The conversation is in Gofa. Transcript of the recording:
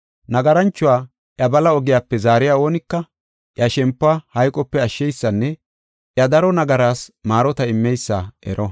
nagaranchuwa iya bala ogiyape zaariya oonika, iya shempuwa hayqope ashsheysanne iya daro nagaraas maarota immeysa ero.